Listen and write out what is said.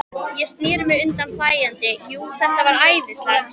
Ég sneri mér undan hlæjandi, jú, þetta var æðislegt.